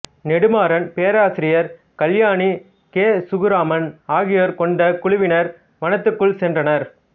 நெடுமாறன் பேராசிரியர் கல்யாணி கே சுகுமாரன் ஆகியோர் கொண்ட குழுவினர் வனத்துக்குள் சென்றனர்